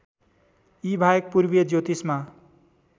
यीबाहेक पूर्वीय ज्योतिषमा